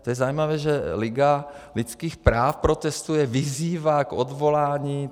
To je zajímavé, že Liga lidských práv protestuje, vyzývá k odvolání.